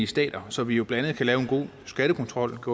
stater så vi blandt andet kan lave en god skattekontrol og